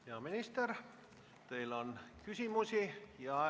Hea minister, teile on küsimusi.